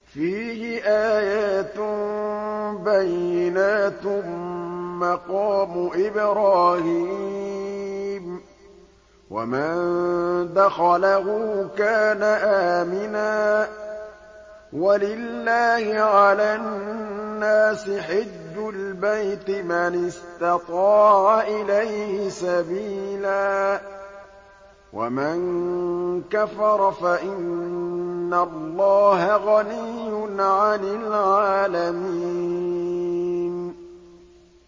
فِيهِ آيَاتٌ بَيِّنَاتٌ مَّقَامُ إِبْرَاهِيمَ ۖ وَمَن دَخَلَهُ كَانَ آمِنًا ۗ وَلِلَّهِ عَلَى النَّاسِ حِجُّ الْبَيْتِ مَنِ اسْتَطَاعَ إِلَيْهِ سَبِيلًا ۚ وَمَن كَفَرَ فَإِنَّ اللَّهَ غَنِيٌّ عَنِ الْعَالَمِينَ